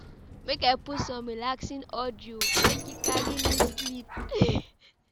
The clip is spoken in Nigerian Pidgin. Make I put some relaxing audio, make e carry me sleep. um